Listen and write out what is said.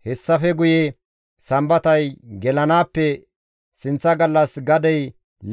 Hessafe guye Sambatay gelanaappe sinththa gallas gadey